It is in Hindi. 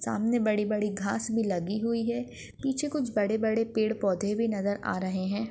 सामने बड़ी बड़ी घास भी लगी हुई हैं पीछे कुछ बड़े बड़े पेड़ पौधे नजर आ रहैं हैं।